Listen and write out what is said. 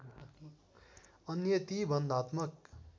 अन्य ती बन्धात्मक